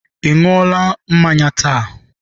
I ṅụọla mmanya taa?